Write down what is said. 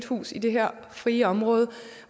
hus i det her frie område